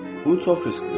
Bu çox risklidir.